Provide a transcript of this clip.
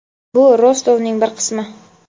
Bu Rostovning bir qismi.